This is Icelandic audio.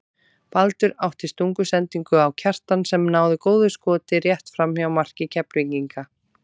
Baldur átti stungusendingu á Kjartan sem náði góðu skoti rétt framhjá marki Keflvíkinga.